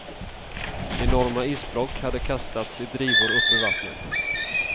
Enorma isblock hade kastats i drivor upp ur vattnet.